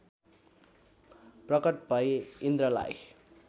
प्रकट भै इन्द्रलाई